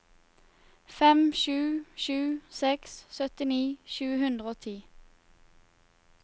fem sju sju seks syttini sju hundre og ti